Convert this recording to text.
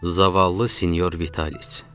Zavallı Senyor Vitalis.